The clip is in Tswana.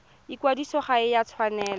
ikwadiso ga e a tshwanela